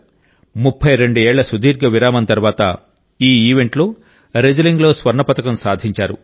32 ఏళ్ల సుదీర్ఘ విరామం తర్వాత ఈ ఈవెంట్లో రెజ్లింగ్లో స్వర్ణ పతకం సాధించారు